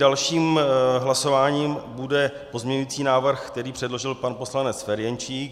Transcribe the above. Dalším hlasováním bude pozměňující návrh, který předložil pan poslanec Ferjenčík.